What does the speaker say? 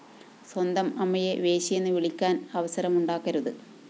സ്വന്തം അമ്മയെ വേശ്യയെന്ന് വിളിപ്പിക്കാന്‍ അവസരമുണ്ടാക്കരുത്